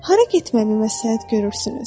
Hara getməyi məsləhət görürsünüz?